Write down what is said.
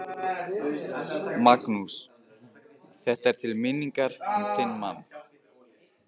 Magnús: Þetta er til minningar um þinn mann?